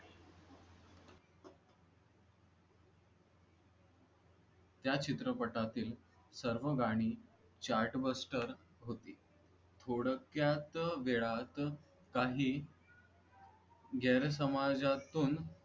त्या चित्रपटातील सर्व गाणी Chartvester होती थोडक्यात वेळात काही जन समाजातून